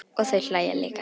Og þau hlæja líka.